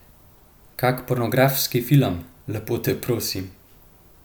Kak pornografski film, lepo te prosim!